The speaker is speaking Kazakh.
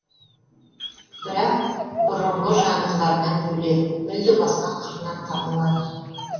бірақ бұрынғы жанрларынан бөлек мүлде басқа қырынан танылады